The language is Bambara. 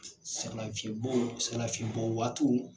Sɛgɛn lafiɲɛn Sɛgɛn lafiɲɛn bɔ waatiw.